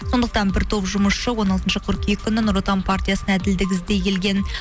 сондықтан бір топ жұмысшы он алтыншы қыркүйек күні нұр отан партиясына әділдік іздей келген